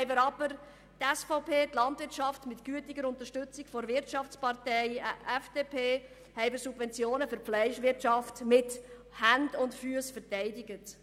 Gleichzeitig haben wir aber die SVP, die die Landwirtschaft – mit gütiger Unterstützung der Wirtschaftspartei FDP – mit Subventionen für die Fleischwirtschaft mit Händen und Füssen verteidigt.